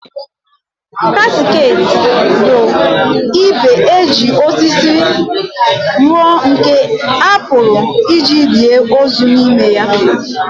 Casket bụ igbe e ji osisi rụọ nke a pụrụ iji lie ozu n'ime ya.